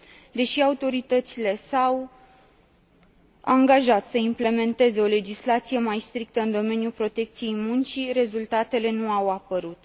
Deși autoritățile s au angajat să implementeze o legislație mai strictă în domeniul protecției muncii, rezultatele nu au apărut.